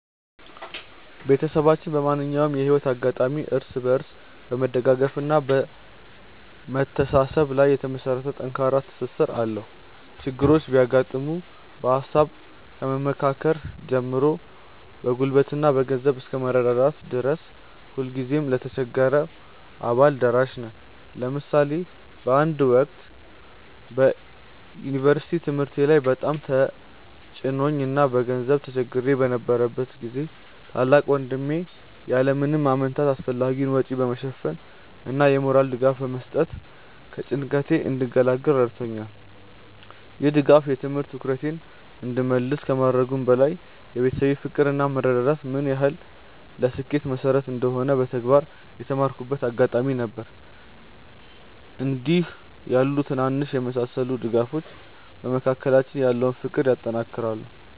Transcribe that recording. ቤተሰባችን በማንኛውም የህይወት አጋጣሚ እርስ በርስ በመደጋገፍና በመተሳሰብ ላይ የተመሰረተ ጠንካራ ትስስር አለው። ችግሮች ሲያጋጥሙ በሃሳብ ከመመካከር ጀምሮ በጉልበትና በገንዘብ እስከ መረዳዳት ድረስ ሁልጊዜም ለተቸገረው አባል ደራሽ ነን። ለምሳሌ በአንድ ወቅት በዩኒቨርሲቲ ትምህርቴ ላይ በጣም ተጭኖኝ እና በገንዘብ ተቸግሬ በነበረበት ጊዜ ታላቅ ወንድሜ ያለ ምንም ማመንታት አስፈላጊውን ወጪ በመሸፈን እና የሞራል ድጋፍ በመስጠት ከጭንቀቴ እንድገላገል ረድቶኛል። ይህ ድጋፍ የትምህርት ትኩረቴን እንድመልስ ከማድረጉም በላይ የቤተሰብ ፍቅር እና መረዳዳት ምን ያህል ለስኬት መሰረት እንደሆነ በተግባር የተማርኩበት አጋጣሚ ነበር። እንዲህ ያሉ ትናንሽ የሚመስሉ ድጋፎች በመካከላችን ያለውን ፍቅር ያጠናክራሉ።